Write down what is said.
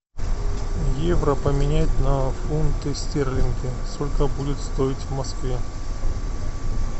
евро поменять на фунты стерлинги сколько будет стоить в москве